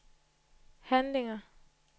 handlinger